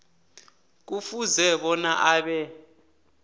kufuze bona abe